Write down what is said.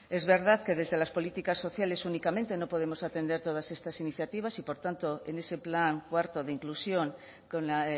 es verdad que desde las políticas sociales únicamente no podemos atender todas estas iniciativas y por tanto en ese plan cuarto de inclusión con la